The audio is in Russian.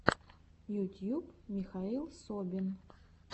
ютьюб михаил собин